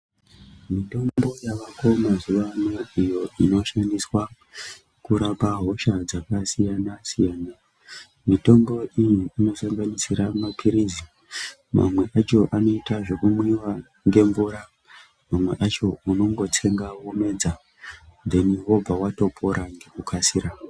Mitombo yavako mazuwa ano iyo inoshandiswa kurape hosha dzakasiyana siyana. Mitombo iyi inosanganisira mapirizi. Mamwe acho anoita zvekumwiwa nemvura. Mamwe acho unongotsenga womedza, wotopona.